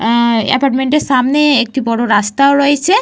আ এপার্টমেন্টের সামনে একটা বড় রাস্তাও রয়েছে।